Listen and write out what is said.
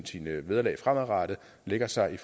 sine vederlag fremadrettet lægger sig